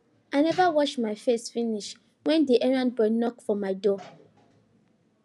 i neva wash my face finish wen the errand boy knock for my door